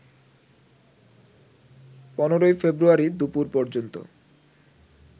১৫ February দুপুর পর্যন্ত